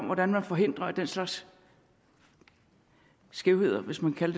hvordan man forhindrer at den slags skævheder hvis man kan